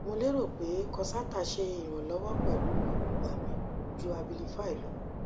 mo lero pe concerta se ironlowo pelu irogba mi ju abilify lo